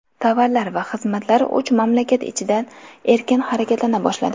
Tovarlar va xizmatlar uch mamlakat ichida erkin harakatlana boshladi.